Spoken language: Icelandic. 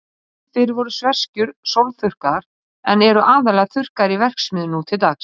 Áður fyrr voru sveskjur sólþurrkaðar, en eru aðallega þurrkaðar í verksmiðjum nú til dags.